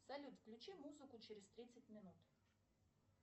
салют включи музыку через тридцать минут